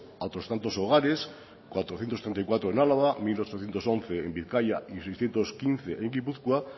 a otros tantos hogares cuatrocientos treinta y cuatro en álava mil ochocientos once en bizkaia y seiscientos quince en gipuzkoa